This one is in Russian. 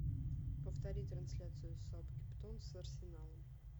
повтори трансляцию саутгемптон с арсеналом